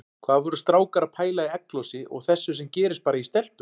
Hvað voru strákar að pæla í egglosi og þessu sem gerist bara í stelpum!